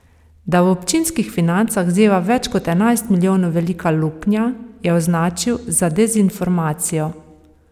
Da v občinskih financah zeva več kot enajst milijonov velika luknja, je označil za dezinformacijo.